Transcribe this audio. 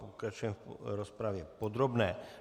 Pokračujeme v rozpravě podrobné.